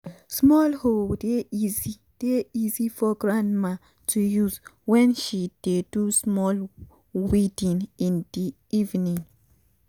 small hoe dey easy dey easy for grandma to use wen she dey do small weeding in the evening